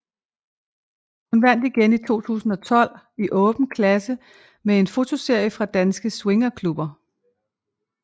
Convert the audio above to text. Hun vandt igen i 2012 i Åben Klasse med en fotoserie fra danske swingerklubber